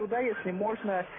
туда если можно